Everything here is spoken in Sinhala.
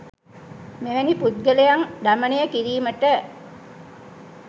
මෙවැනි පුද්ගලයන් දමනය කිරීමට